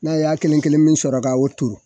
N'a y'a kelen kelen min sɔrɔ k'a o turu.